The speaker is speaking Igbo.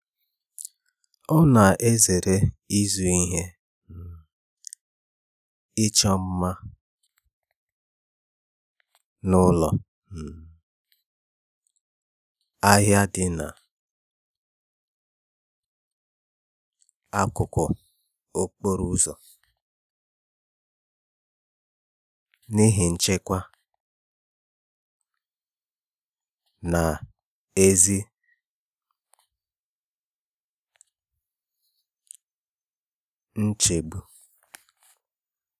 Ọ na-ezere ịzụrụ ihe um ịchọ mma n'ụlọ um ahịa dị n'akụkụ okporo ụzọ n'ihi nchekwa na ezi nchegbu.